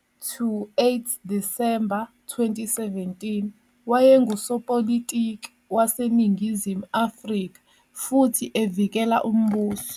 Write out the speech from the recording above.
- 8 Disemba 2017, wayengusopolitiki waseNingizimu Afrika futhi evukela umbuso.